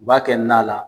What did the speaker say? U b'a kɛ na la